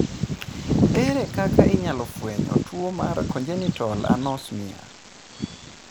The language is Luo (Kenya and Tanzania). Ere kaka inyalo fweny tuo mar congenital anosmia?